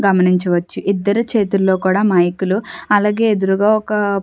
గమనించవచ్చు ఇద్దరు చేతిల్లో కూడా మైకు లు అలాగే ఎదురుగా ఒక --